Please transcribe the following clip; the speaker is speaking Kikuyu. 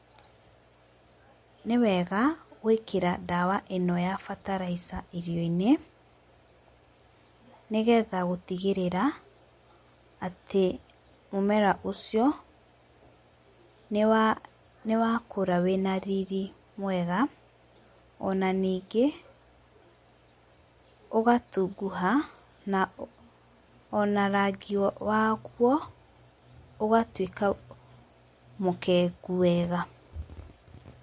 Nĩ wega gũĩkĩra ndawa ĩno ya bataraica irio-inĩ ni getha gũtigĩrĩra atĩ mũmera ũcio nĩ wa kũra wĩna riri mwega, ona ningĩ, ũgatunguha na ona rangi waguo ũgatuĩka mũkengu wega.